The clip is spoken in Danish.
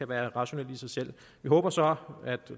være rationelt i sig selv vi håber så